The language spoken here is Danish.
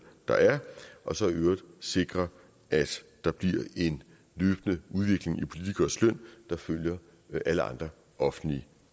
der er og så i øvrigt at sikre at der bliver en løbende udvikling i politikeres løn der følger alle andre offentligt